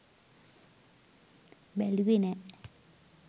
බැලුවෙ නෑ